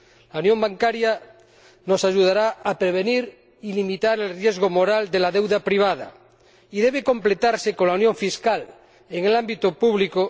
La unión bancaria nos ayudará a prevenir y limitar el riesgo moral de la deuda privada y debe completarse con la unión fiscal en el ámbito público